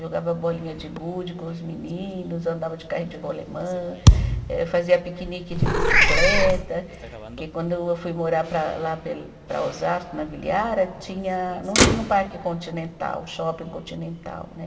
Jogava bolinha de gude com os meninos, andava de carrinho de rolemã, eh fazia piquenique de bicicleta, porque quando eu fui morar para lá para Osasco, na Vila Yara, tinha, não tinha o parque continental, o shopping continental, né?